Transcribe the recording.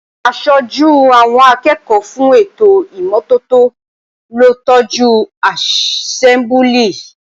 Aṣojú àwọn akẹ́ẹ̀kọ́ fún ètò ìmọ́tótó ló tọ́jú àsẹ́mbúlì